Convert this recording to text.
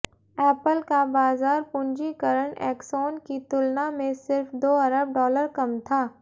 Apple का बाजार पूंजीकरण एक्सॉन की तुलना में सिर्फ दो अरब डॉलर कम था